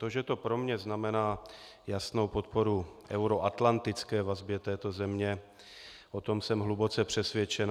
To, že to pro mě znamená jasnou podporu euroatlantické vazbě této země, o tom jsem hluboce přesvědčen.